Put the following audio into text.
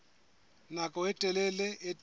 nako e telele ho tiisitse